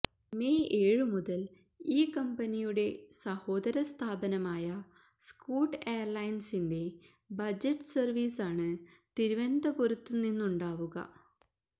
May ഏഴു മുതല് ഈ കമ്പനിയുടെ സഹോദര സ്ഥാപനമായ സ്കൂട്ട് എയര്ലൈന്സിന്റെ ബജറ്റ് സര്വീസാണ് തിരുവനന്തപുരത്തു നിന്നുണ്ടാവുക